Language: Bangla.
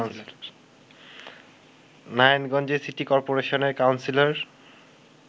নারায়ণগঞ্জে সিটি করপোরেশনের কাউন্সিলর